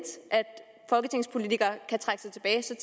at folketingspolitikere kan trække sig tilbage